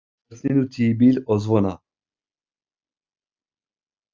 Börnin úti í bíl og svona.